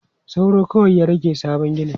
Sauro kawai ya rage sabon ginin.